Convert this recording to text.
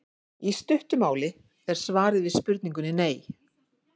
Í stuttu máli er svarið við spurningunni nei.